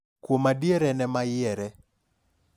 Kuom adier en ema yiere